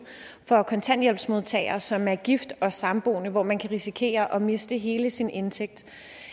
for kontanthjælpsmodtagere som er gift og samboende hvor man kan risikere at miste hele sin indtægt